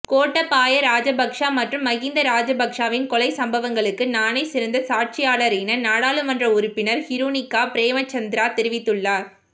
கோட்டாபய ராஜபக்ஷ மற்றும் மஹிந்த ராஜபக்ஷவின் கொலைச் சம்பவங்களுக்கு நானே சிறந்த சாட்சியாளரென நாடாளுமன்ற உறுப்பினர் ஹிருணிகா பிரேமசந்திர தெரிவித்துள்ளார்